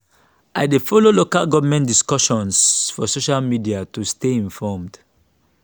i dey follow local government discussions for social media to stay informed.